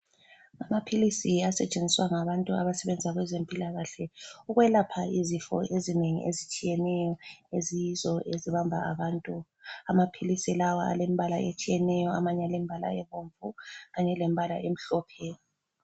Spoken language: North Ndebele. Amaphilisi asetshenziswa ngabantu abasebenza kweze mpilakahle, ukwelapha izifo ezinengi ezitshiyeneyo eziyizo ezibamba abantu. Amaphilisi lawa alembala etshiyeneyo, amanye alembala ebomvu kanye lembala emhlophe